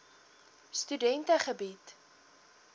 studente bied